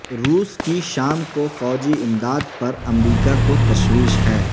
روس کی شام کو فوجی امداد پر امریکہ کو تشویش ہے